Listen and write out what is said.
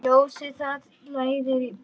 Ljósið það leiðir í bæinn.